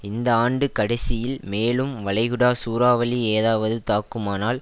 இந்த ஆண்டு கடைசியில் மேலும் வளைகுடா சூறாவளி ஏதாவது தாக்குமானால்